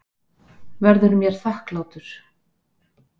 Verður mér þakklátur.